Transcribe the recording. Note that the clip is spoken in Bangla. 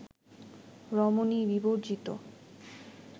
রমণী বিবর্জিত